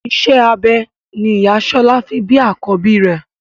Iṣẹ́ abẹ ni ìyá Ṣọlá fi bí àkọ́bí rẹ̀.